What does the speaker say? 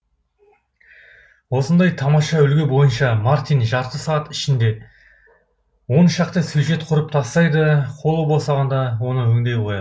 осындай тамаша үлгі бойынша мартин жарты сағат ішінде он шақты сюжет құрып тастайды да қолы босағанда оны өңдей қояды